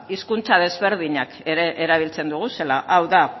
hizkuntza desberdinak ere erabiltzen ditugula hau da